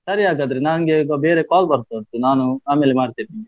ಸರಿ ಹಾಗಾದ್ರೆ ನಂಗೆ ಈಗ ಬೇರೆ call ಬರ್ತಾ ಉಂಟು ನಾನು ಆಮೇಲೆ ಮಾಡ್ತೇನೆ ನಿಂಗೆ.